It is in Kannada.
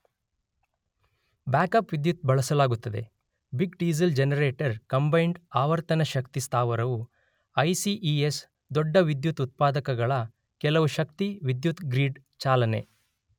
ಬ್ಯಾಕ್ಅಪ್ ವಿದ್ಯುತ್ ಬಳಸಲಾಗುತ್ತದೆ ಬಿಗ್ ಡೀಸೆಲ್ ಜನರೇಟರ್ ಕಂಬೈನ್ಡ್ ಆವರ್ತನ ಶಕ್ತಿ ಸ್ಥಾವರವು ಐಸಿಇಎಸ್ ದೊಡ್ಡ ವಿದ್ಯುತ್ ಉತ್ಪಾದಕಗಳ ಕೆಲವು ಶಕ್ತಿ ವಿದ್ಯುತ್ ಗ್ರಿಡ್ ಚಾಲನೆ.